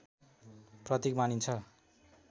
प्रतीक मानिन्छ